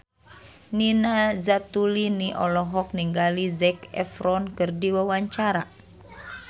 Nina Zatulini olohok ningali Zac Efron keur diwawancara